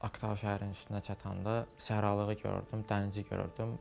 Aktaao şəhərinin üstünə çatanda səhralığı gördüm, dənizi gördüm.